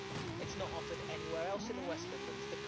It is not offered anywhere else in the West Midlands.